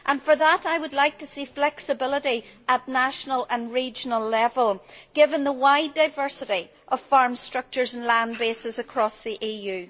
For that reason I would like to see flexibility at national and regional level, given the wide diversity of farm structures and land bases across the EU.